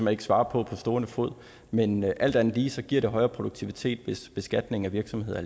ikke svare på på stående fod men alt andet lige giver det højere produktivitet hvis beskatningen af virksomheder